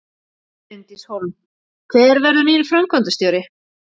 Bryndís Hólm: Hver verður nýr framkvæmdastjóri?